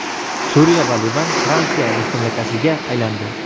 Suriya va Livan Fransiya mustamlakasiga aylandi.